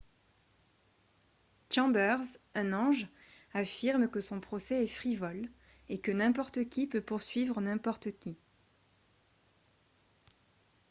chambers un ange affirme que son procès est « frivole » et que « n'importe qui peut poursuivre n'importe qui »